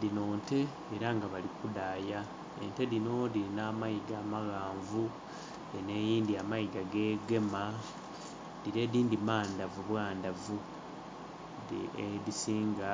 Dhinho nte era nga bali ku dhaaya, ente dhino dhirina amayiga amaghanvu, eno eyindhi amayiga gegema, dhire edhindhi mandhavu bwandhavu. Ente nga edhisinga